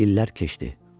İllər keçdi.